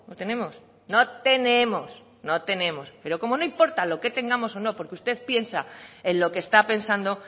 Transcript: tenemos no tenemos no tenemos pero como no importa lo que tengamos o no porque usted piensa en lo que está pensando